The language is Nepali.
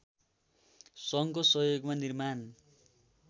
सङ्घको सहयोगमा निर्माण